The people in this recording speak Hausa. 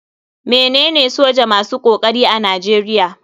Me nene soja masu kokari a nigeria.